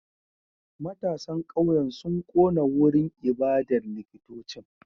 Matasan kauyen sun kona wurin ibadar likitocin